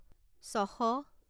ছশ